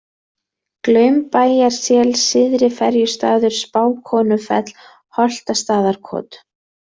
Glaumbæjarsel, Syðri-Ferjustaður, Spákonufell, Holtastaðakot